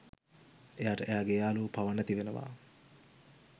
එයාට එයාගේ යාළුවො පවා නැති වෙනවා.